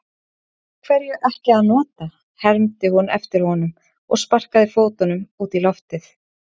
Af hverju ekki að nota, hermdi hún eftir honum og sparkaði fótunum út í loftið.